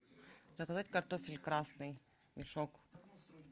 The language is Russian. заказать картофель красный мешок